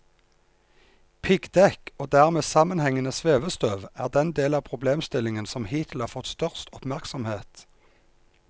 Piggdekk og dermed sammenhengende svevestøv er den del av problemstillingen som hittil har fått størst oppmerksomhet.